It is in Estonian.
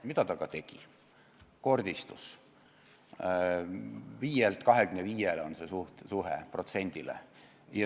Nii ka läks: piirikaubanduse osakaal kasvas 5%-lt 25%-le.